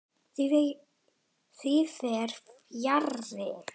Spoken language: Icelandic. Því fer fjarri.